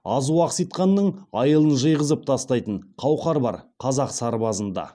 азу ақситқанның айылын жиғызып тастайтын қауқар бар қазақ сарбазында